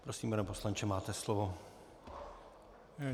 Prosím, pane poslanče, máte slovo.